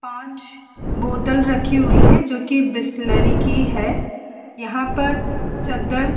पांच बोतल रखी हुई हैं जोकि बिसलेरी की है यहाँ पैर चद्दर --